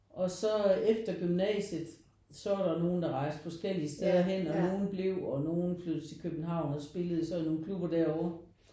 Og så efter gymnasiet så var der nogen der rejste forskellige steder hen og nogen blev og nogen flyttede til København og spillede så i nogen klubber derover